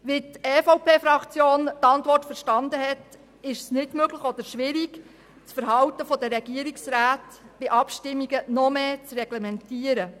So wie die EVP-Fraktion die Antwort der Regierung verstanden hat, ist es nicht möglich oder zumindest schwierig, das Verhalten der Regierungsräte bei Abstimmungen noch stärker zu reglementieren.